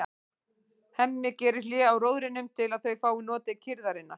Hemmi gerir hlé á róðrinum til að þau fái notið kyrrðarinnar.